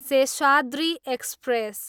Seshadri express